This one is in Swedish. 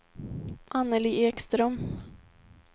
Anneli Ekström